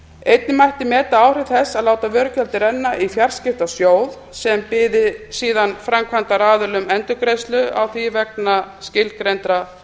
einnig mætti meta áhrif þess að láta vörugjaldið renna í fjarskiptasjóð sem byði síðan framkvæmdaraðilum endurgreiðslu á því vegna skilgreindra